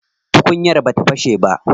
Tukunyar bata fashe ba.